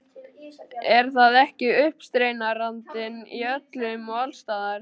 Er það ekki uppreisnarandinn- í öllum og alls staðar.